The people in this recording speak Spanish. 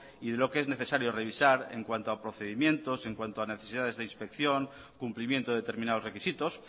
y lo que es necesario revisar en cuanto procedimientos en cuanto a necesidades de inspección cumplimientos determinados requisitos